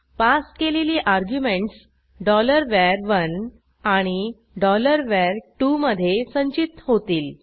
pass केलेली arguments var1 आणि var2मधे संचित होतील